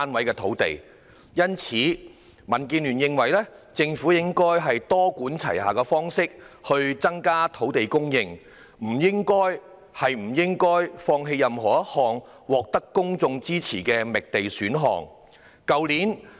因此，民主建港協進聯盟認為政府應採取多管齊下的方式，以增加土地供應，不應放棄任何一項獲得公眾支持的覓地選項。